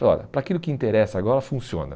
olha, para aquilo que interessa agora funciona.